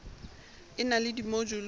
e na le dimojule tse